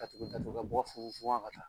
Ka tugu ka mɔgɔ fo fuwa ka taa.